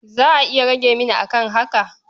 Za a iya rage mini a kan haka?